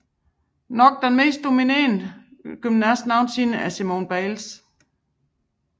Nok den mest dominante gymnast nogensinde er Simone Biles